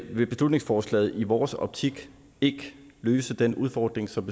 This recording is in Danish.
vil beslutningsforslaget i vores optik ikke løse den udfordring som